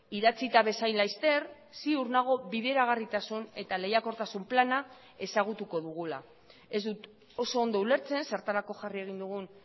idatzita bezain laster ziur nago bideragarritasun eta lehiakortasun plana ezagutuko dugula ez dut oso ondo ulertzen zertarako jarri egin dugun